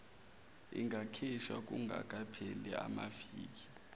ingakhishwa kungakapheli amaviki